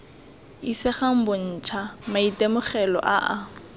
isegang bontsha maitemogelo a a